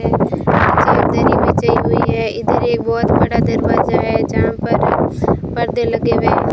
है धरी बिछाई हुई है इधर एक बहुत बड़ा दरवाजा है जहां पर पर्दे लगे हुए हैं।